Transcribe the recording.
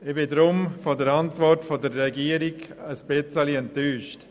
Ich bin deshalb von der Antwort der Regierung etwas enttäuscht.